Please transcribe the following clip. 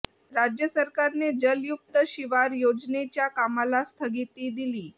राज्य सरकारने जलयुक्त शिवार योजनेच्या कामाला स्थगिती दिली